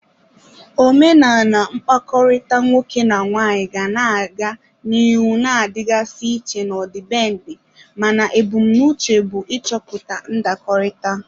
Omenala mkpakọrịta nwoke na nwaanyị ga na-aga n'ihu na-adịgasị iche n'ọdịbendị, mana ebumnuche bụ ịchọpụta ndakọrịta.